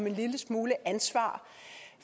en lille smule ansvar